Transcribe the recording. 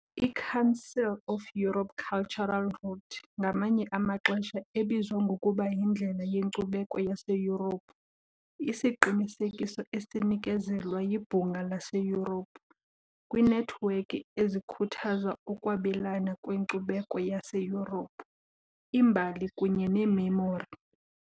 I-Council of Europe Cultural Route, ngamanye amaxesha ebizwa ngokuba yiNdlela yeNkcubeko yaseYurophu, isiqinisekiso esinikezelwa yiBhunga laseYurophu kwiinethiwekhi ezikhuthaza ukwabelana ngenkcubeko yaseYurophu, imbali kunye nememori.